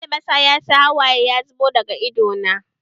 Albasa ya sa hawaye ya zubo daga idanuna